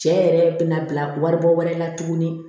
Cɛ yɛrɛ bɛna bila wari bɔ wɛrɛ la tuguni